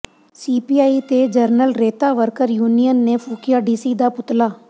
CPI ਤੇ general ਰੇਤਾ worker union ਨੇ ਫੂਕਿਆ ਡੀਸੀ ਦਾ ਪੁਤਲਾ